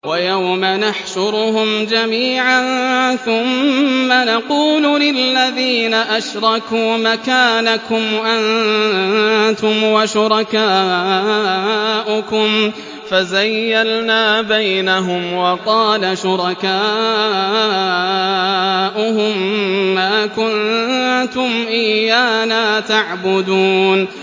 وَيَوْمَ نَحْشُرُهُمْ جَمِيعًا ثُمَّ نَقُولُ لِلَّذِينَ أَشْرَكُوا مَكَانَكُمْ أَنتُمْ وَشُرَكَاؤُكُمْ ۚ فَزَيَّلْنَا بَيْنَهُمْ ۖ وَقَالَ شُرَكَاؤُهُم مَّا كُنتُمْ إِيَّانَا تَعْبُدُونَ